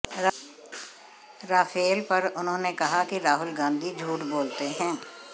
Rafale पर उन्होंने कहा कि राहुल गांधी झूठ बोलते है